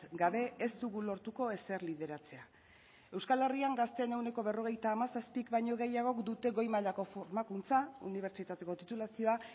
gabe ez dugu lortuko ezer lideratzea euskal herrian gazteen ehuneko berrogeita hamazazpik baino gehiagok dute goi mailako formakuntza unibertsitateko titulazioa